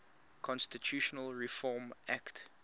constitutional reform act